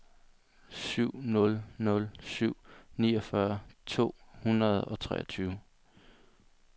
syv nul nul fem niogfyrre to hundrede og treogtyve